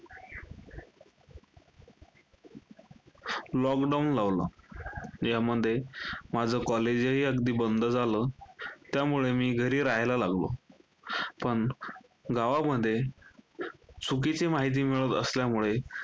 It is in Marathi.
lockdown लावला. यामध्ये माझं college हि अगदी बंद झालं. त्यामुळे मी घरी राहायला लागलो. पण, गावामध्ये चुकीची माहिती मिळत असल्यामुळे,